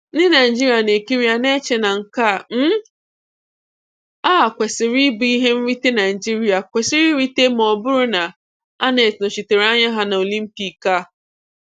Ndị Naịjirịa na ekiri ya na-eche na nke um a kwesiri ịbụ ihe nrite Naịjirịa kwesịrị irite ma ọ bụrụ na Annette nọchịtere anya ha na Olympiik. um